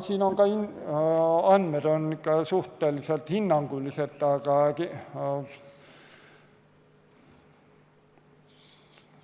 Siin on ka andmed suhteliselt hinnangulised,